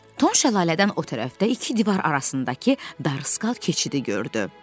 Tom şəlalədən o tərəfdə iki divar arasındakı dar skal keçidi gördü.